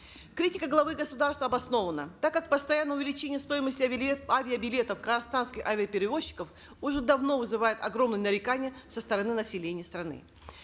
критика главы государства обоснованна так как постоянное увеличение стоимости авиабилетов казахстанских авиаперевозчиков уже давно вызывает огромные нарекания со стороны населения страны